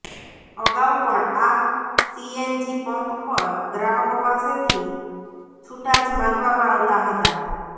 અગાઉ પણ આ સીએનજી પંપ પર ગ્રાહકો પાસેથી છુટા જ માંગવામાં આવતા હતા